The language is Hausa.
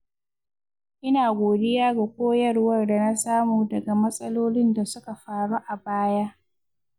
Ina godiya ga koyarwar da na samu daga matsalolin da suka faru a baya.